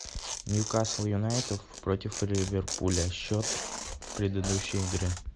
нью касл юнайтед против ливерпуля счет предыдущей игры